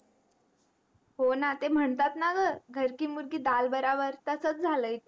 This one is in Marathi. हो न ते महणतात न ग घरकी मुरगी दाल बराबर तसंच जल आहे ते